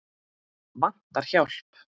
Vantar hjálp.